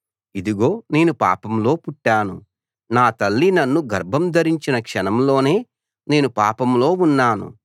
ఇదిగో నేను పాపంలో పుట్టాను నా తల్లి నన్ను గర్భం ధరించిన క్షణంలోనే నేను పాపంలో ఉన్నాను